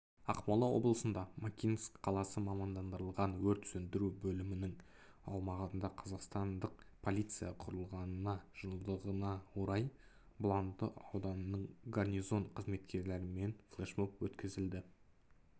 ақмола облысында макинск қаласы мамандандырылған өрт сөндіру бөлімінің аумағында қазақстандық полиция құрылғанына жылдығына орай бұланды ауданының горнизон қызметкерлерімен флешмоб өткізді